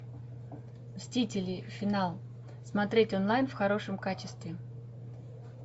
мстители финал смотреть онлайн в хорошем качестве